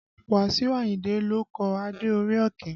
Wasiu Ayinde ló kọ Adé orí Ọ̀kín